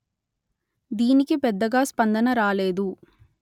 దీనికి పెద్దగా స్పందన రాలేదు